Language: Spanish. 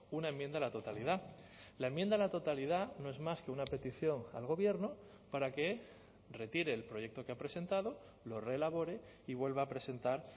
una enmienda a la totalidad la enmienda a la totalidad no es más que una petición al gobierno para que retire el proyecto que ha presentado lo reelabore y vuelva a presentar